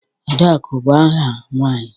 Adaku bu aha nwanyi.